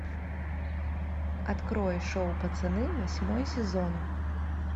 открой шоу пацаны восьмой сезон